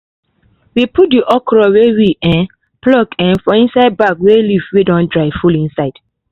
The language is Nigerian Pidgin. we put the okra wey we um pluck um for inside bag wey leaves wey don dry full insde